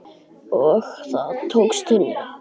Og það tókst henni.